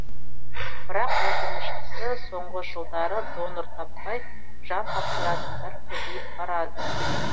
бірақ өкініштісі соңғы жылдары донор таппай жан тапсыратындар көбейіп барады